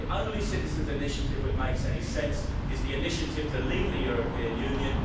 The only Citizens' Initiative which makes any sense is the initiative to leave the European Union.